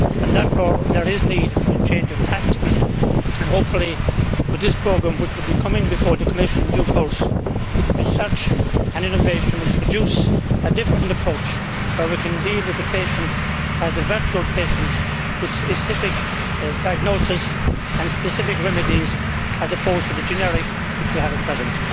Therefore there is need for a change of tactics and, hopefully, with this programme, which will be coming before the Commission in due course, research and innovation will produce a different approach where we can deal with the patient as the virtual patient with specific diagnosis and specific remedies as opposed to the generic which we have at present.